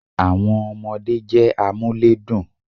Àwon ọmọdé jé amúlédùn